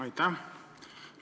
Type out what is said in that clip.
Aitäh!